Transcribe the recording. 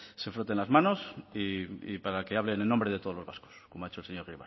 se froten las manos y para que hablen en nombre de todos los vascos como ha dicho el señor